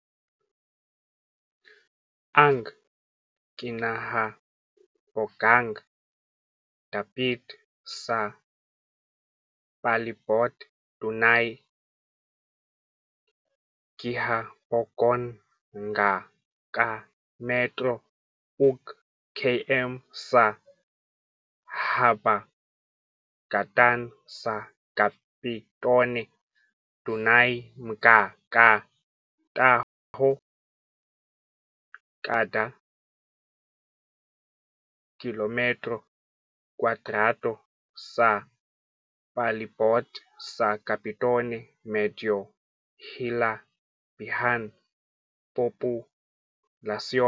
Ang kinahabogang dapit sa palibot dunay gihabogon nga ka metro ug km sa habagatan sa Capitone. Dunay mga ka tawo kada kilometro kwadrado sa palibot sa Capitone medyo hilabihan populasyon.